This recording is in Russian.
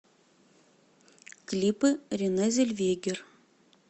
клипы рене зельвегер